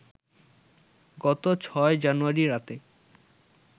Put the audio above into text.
গত ৬ জানুয়ারি রাতে